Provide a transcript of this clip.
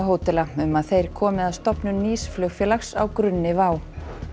hótela um að þeir komi að stofnun nýs flugfélags á grunni WOW